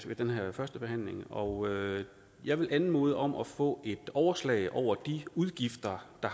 den her førstebehandling og jeg vil anmode om at vi får et overslag over de udgifter der